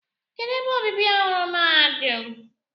Kedụ ebe obibi ọhụrụ mahadum?